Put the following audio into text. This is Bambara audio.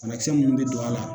Bana kisɛ mun be don a la